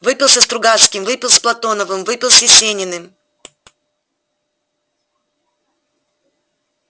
выпил со стругацкими выпил с платоновым выпил с есениным